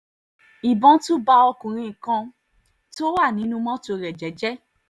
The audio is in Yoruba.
ìbọn tún bá ọkùnrin kan tó wà nínú mọ́tò rẹ̀ jẹ́ẹ́jẹ́ẹ́